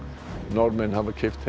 Norðmenn hafa keypt